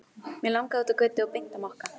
Mig langaði út á götu og beint á Mokka.